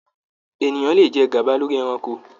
Ènìyàn ló jẹ gaba lórí ẹranko.